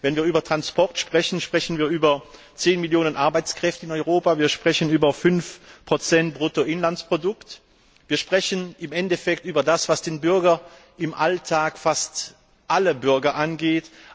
Denn wenn wir über Verkehr sprechen, sprechen wir über zehn Millionen Arbeitskräfte in Europa, wir sprechen über 5 des Bruttoinlandsprodukts, wir sprechen im Endeffekt über das, was im Alltag fast alle Bürger angeht.